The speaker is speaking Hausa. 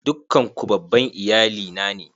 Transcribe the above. Dukkan ku babban iyali na ne?